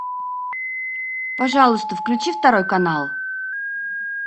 пожалуйста включи второй канал